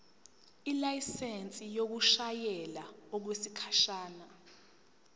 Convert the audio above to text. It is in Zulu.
ilayisensi yokushayela okwesikhashana